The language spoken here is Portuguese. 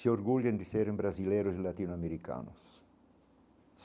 Se orgulhem de serem brasileiros latino-americanos.